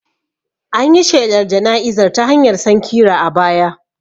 An yi shelar jana'izar ta hanyar sankira a baya